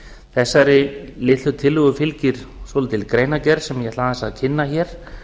þessari litlu tillögu fylgir svolítil greinargerð sem ég ætla aðeins að kynna hér